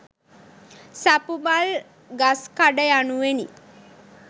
සපුමල් ගස්කඩ යනුවෙනි.